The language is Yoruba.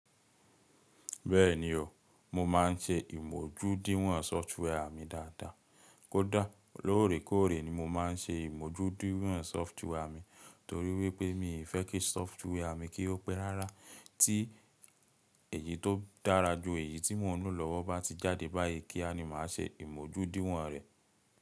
Bẹ́ẹ̀ni o, mo máà ń ṣe ìmójúdíwọ̀n sófútúwà mi dáadáa. Kódà lóòrèkóòrè ni mo máà ń ṣe ìmójúdíwọ̀n sófútúwà mi torí wípé mi o fẹ́ kí sófútúwà mi kí ó pé rárá. Tí èyí tó dára ju èyí tí mo ń lò lọ́wọ́ bá ti jáde báyìí, kíá ni màá ṣe ìmójúdíwọ̀n rẹ̀.